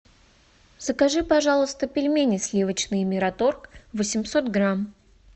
закажи пожалуйста пельмени сливочные мираторг восемьсот грамм